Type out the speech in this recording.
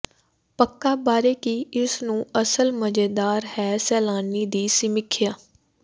ਪੱਕਾ ਬਾਰੇ ਕੀ ਇਸ ਨੂੰ ਅਸਲ ਮਜ਼ੇਦਾਰ ਹੈ ਸੈਲਾਨੀ ਦੀ ਸਮੀਖਿਆ